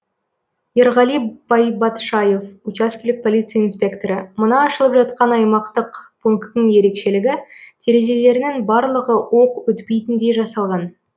ерғали байбатшаев учаскелік полиция инспекторы мына ашылып жатқан аймақтық пунктің ерекшелігі терезелерінің барлығы оқ өтпейтіндей жасалған